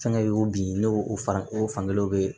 Fɛnkɛ y'o bi ne o fan o fan kelen bɛ yen